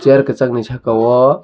chair kesak ni saka o.